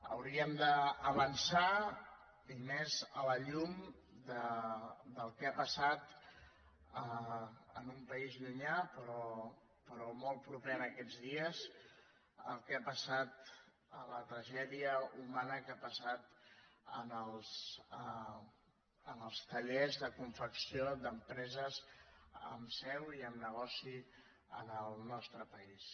hauríem d’avançar i més a la llum del que ha passat en un país llunyà però molt proper aquests dies la tragèdia humana que ha passat en els tallers de confecció d’empreses amb seu i amb negoci en el nostre país